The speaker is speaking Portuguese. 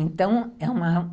Então é uma